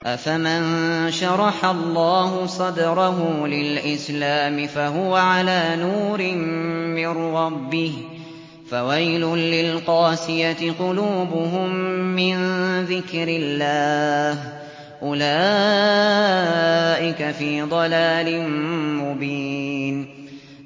أَفَمَن شَرَحَ اللَّهُ صَدْرَهُ لِلْإِسْلَامِ فَهُوَ عَلَىٰ نُورٍ مِّن رَّبِّهِ ۚ فَوَيْلٌ لِّلْقَاسِيَةِ قُلُوبُهُم مِّن ذِكْرِ اللَّهِ ۚ أُولَٰئِكَ فِي ضَلَالٍ مُّبِينٍ